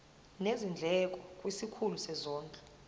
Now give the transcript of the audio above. nezindleko kwisikhulu sezondlo